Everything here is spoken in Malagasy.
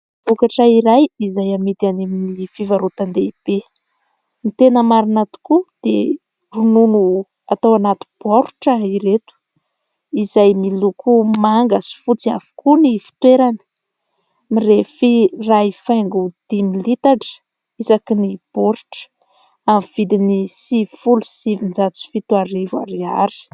Vokatra iray izay amidy any amin'ny fivarotan-dehibe. Ny tena marina tokoa dia ronono atao anaty baoritra ireto izay miloko manga sy fotsy avokoa ny fitoerany. Mirefy iray faingo dimy litatra isaky ny baoritra amin'ny vidiny sivifolo sy sivinjato sy fito arivo ariary.